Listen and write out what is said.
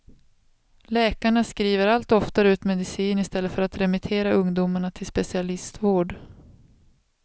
Läkarna skriver allt oftare ut medicin i stället för att remittera ungdomarna till specialistvård.